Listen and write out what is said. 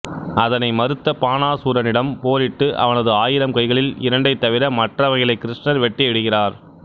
அதனை மறுத்த பானாசூரனிடம் போரிட்டு அவனது ஆயிரம் கைகளில் இரண்டைத் தவிர மற்றவைகளை கிருஷ்ணர் வெட்டி விடுகிறார்